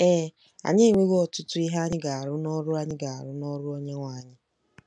Ee, anyị enwewo 'ọtụtụ ihe anyị ga-arụ n'ọrụ anyị ga-arụ n'ọrụ Onyenwe anyị.